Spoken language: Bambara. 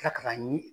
Tila ka taa ɲini